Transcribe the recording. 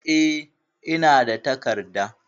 E, ina da takarda.